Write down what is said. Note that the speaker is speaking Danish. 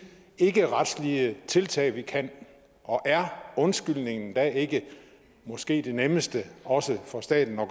ikkeretslige tiltag vi kan og er undskyldningen da ikke måske det nemmeste også for staten at